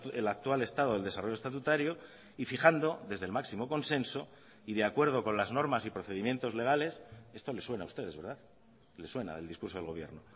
el actual estado del desarrollo estatutario y fijando desde el máximo consenso y de acuerdo con las normas y procedimientos legales esto les suena a ustedes verdad les suena el discurso del gobierno